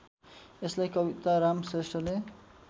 यसलाई कविताराम श्रेष्ठले